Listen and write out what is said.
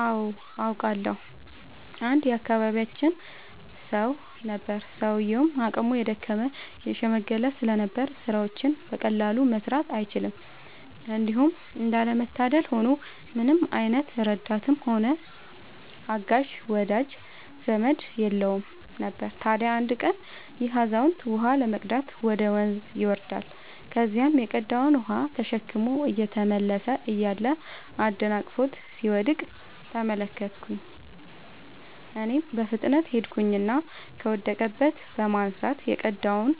አዎ አውቃለሁ። አንድ የአካባቢያችን ሰው ነበረ፤ ሰውዬውም አቅሙ የደከመ የሽምገለ ስለነበር ስራዎችን በቀላሉ መስራት አይችልም። እንዲሁም እንዳለ መታደል ሆኖ ምንም አይነት ረዳትም ሆነ አጋዥ ወዳጅ ዘመድም የለውም ነበር። ታዲያ አንድ ቀን ይሄ አዛውንት ውሃ ለመቅዳት ወደ ወንዝ ይወርዳል። ከዚያም የቀዳውን ውሃ ተሸክሞ እየተመለሰ እያለ አደናቅፎት ሲወድቅ ተመለከትኩኝ እኔም በፍጥነት ሄድኩኝና ከወደቀበት በማንሳት የቀዳውንም